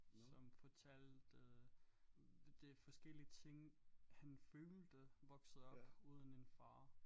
Som fortalte det forskellige ting han følte voksede op uden en far